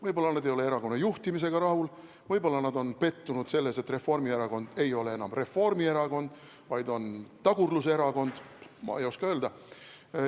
Võib-olla nad ei ole erakonna juhtimisega rahul, võib-olla nad on pettunud selles, et Reformierakond ei ole enam Reformierakond, vaid on tagurluserakond, ma ei oska öelda.